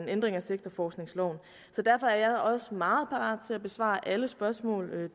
ændring af sektorforskningsloven så derfor er jeg også meget parat til at besvare alle de spørgsmål